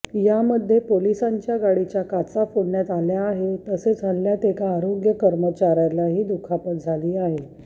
यामध्ये पोलिसांच्या गाडीच्या काचा फोडण्यात आले आहे तसेच हल्ल्यात एका आरोग्य कर्मचार्यालाही दुखापत झाली आहे